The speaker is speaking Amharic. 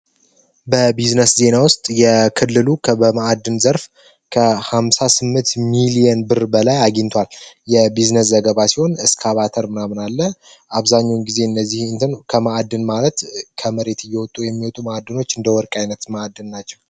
በቢዝነስ ዜና ውስጥ የክልሉ በመአድን ዘርፍ ከ58 ሚሊዮን ብር በላይ አግኝቷል። የቢዝነስ ዘገባ ሲሆን እስካባተር ናምናለ አብዛኙን ጊዜ እነዚህ ከመአድን ማለት ከመሬት እየወጡ የሚወጡ ማአድኖች እንደ ወርቅ አይነት ማዕድን ናቸው።